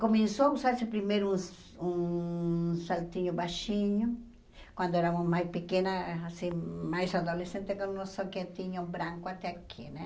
Começou a usar-se primeiro um um saltinho baixinho, quando éramos mais pequenas, assim mais adolescentes, com um soquetinho branco até aqui, né?